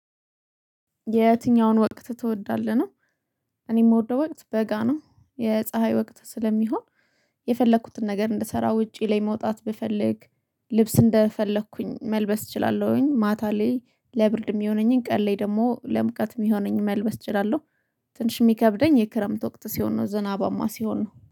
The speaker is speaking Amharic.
የትኛውን ወቅት ትወዳለህ ነው? እኔ ምወደው ወቅት በጋ ነው። የፀሀይ ወቅት ስለሚሆን የፈለኩትን ነገር እንድሰራ ውጪ ላይ መውጣት ብፈልግ ልብስ እንደፈለኩኝ መልበስ እችላለሁኝ። ማታ ላይ ለብርድ የሚሆነኝን ቀሌ ደግሞ ለምቀት የሚሆነኝን መልበስ እችላለሁ። ትንሽ የሚከብደኝ የክረምት ወቅት ሲሆን ነው ዝናባማ ሲሆን ነው